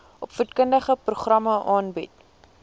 opvoedkundige programme aanbied